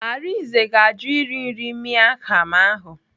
Arinze ga-ajụ iri nri miang kham ahụ.